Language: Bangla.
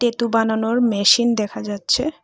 বানানোর মেশিন দেখা যাচ্ছে।